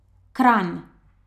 Kranj.